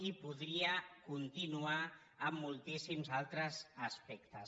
i podria continuar amb moltíssims altres aspectes